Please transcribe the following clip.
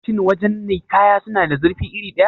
Shin wajan nikaya suna da zurfi iri ɗaya?